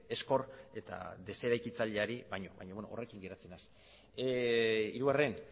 ezkor eta deseraikitzaileari baino baina beno horrekin geratzen naiz hirugarren